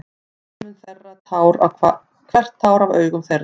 Og hann mun þerra hvert tár af augum þeirra.